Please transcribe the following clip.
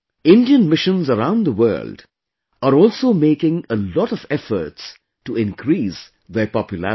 Indian Missions around the world are also making a lot of efforts to increase their popularity